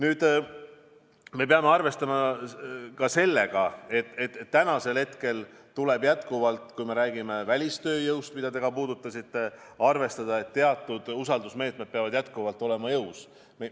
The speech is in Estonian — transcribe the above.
Aga me peame arvestama ka sellega, et kui me räägime välistööjõust, mida te ka puudutasite, siis teatud usaldusmeetmed peavad jätkuvalt jõus olema.